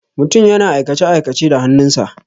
Mutum yana aikace-aikace da hannun sa.